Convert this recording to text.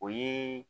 O ye